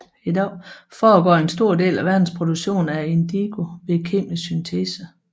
I dag foregår en stor del af verdens produktion af indigo ved kemisk syntese